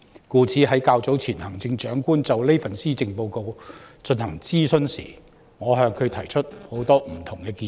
故此，較早前行政長官就這份施政報告進行諮詢時，我向她提出許多不同建議。